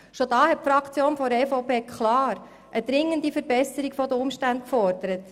Schon da hat die EVP-Fraktion klar eine dringende Verbesserung der Umstände gefordert.